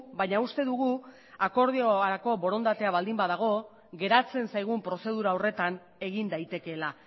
baina uste dugu akordiorako borondatea baldin badago geratzen zaigun prozedura horretan egin daitekeela